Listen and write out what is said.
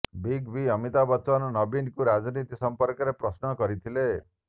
big B Amitabh Bachchan ନବୀନଙ୍କୁ ରାଜନୀତି ସମ୍ପର୍କରେ ପ୍ରଶ୍ନ କରିଥିଲେ